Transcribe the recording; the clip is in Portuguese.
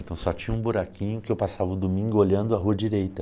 Então só tinha um buraquinho que eu passava o domingo olhando a rua direita.